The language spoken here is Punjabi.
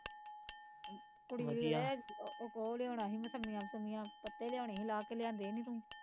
ਇੱਕ ਓਹ ਲਿਆਉਣਾ ਸੀ ਮੋਸਮੀਆ ਮੁਸਮੀਆ, ਪੱਤੇ ਲਿਆਉਣੇ ਸੀ ਲਾਹ ਕੇ ਲਿਆਂਦੇ ਨੀ ਤੂੰ